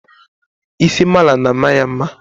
isi mala na-ama ya mma